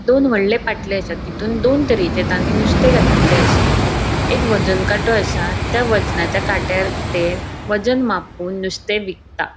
दोन वोडले पाट्ले असा तितुन दोन तरेचे तानी नुस्ते घतिल्ले आसा एक वज़न काटों असा त्या वजनाच्या काट्यार ते वज़न मापुन नुस्ते विकता.